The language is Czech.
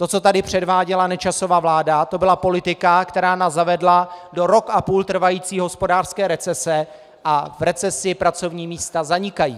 To, co tady předváděla Nečasova vláda, to byla politika, která nás zavedla do rok a půl trvající hospodářské recese, a v recesi pracovní místa zanikají.